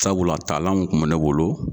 Sabula talanw kun bɛ ne bolo.